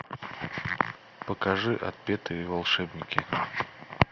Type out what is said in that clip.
покажи отпетые волшебники